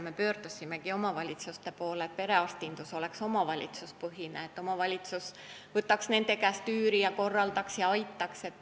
Me pöördusimegi omavalitsuste poole, et perearstindus oleks omavalitsuspõhine, st omavalitsus võtaks nende käest üüri ja korraldaks ja aitaks.